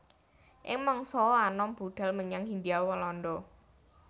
Ing mangsa anom budhal menyang Hindia Walanda